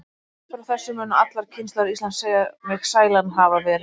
Upp frá þessu munu allar kynslóðir Íslands segja mig sælan hafa verið.